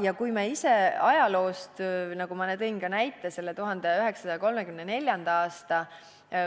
Ja me ise ajaloost teame, nagu ma ka tõin näite selle 1934. aasta